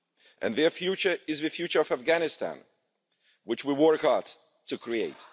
And their future is the future of Afghanistan, which we work hard to create.